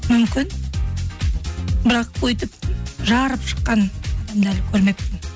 мүмкін бірақ өйтіп жарып шыққан адамдарды көрмеппін